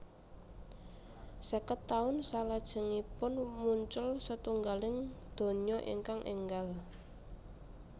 Sèket taun salajengipun muncul setunggaling donya ingkang énggal